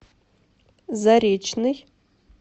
заречный